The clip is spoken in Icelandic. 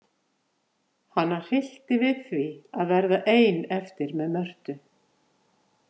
Hana hryllti við því að verða ein eftir með Mörtu.